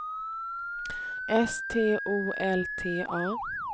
S T O L T A